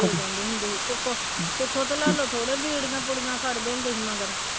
ਦੇ ਜਾਂਦੇ ਹੁੰਦੇ ਸੀ ਸੁੱਖੋ ਸੁੱਖੋ ਤੇ ਲਾਲੋ ਥੋੜ੍ਹੇ ਬੀੜੀਆਂ ਬੂੜੀਆਂ ਹੁੰਦੇ ਸੀ ਮਗਰ